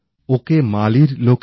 কিন্তু ওঁর আর একটা পরিচয় আছে